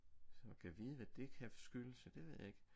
Så gad vide hvad det kan skyldes ja det ved jeg ikke